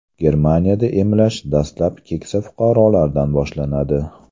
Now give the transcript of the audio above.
Germaniyada emlash dastlab keksa fuqarolardan boshlanadi.